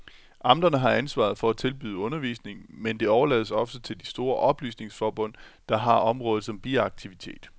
Amterne har ansvaret for at tilbyde undervisning, men det overlades ofte til de store oplysningsforbund, der har området som biaktivitet.